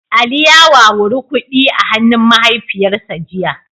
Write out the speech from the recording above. Ali ya wawuri kudi a hannun mahaifiyarsa jiya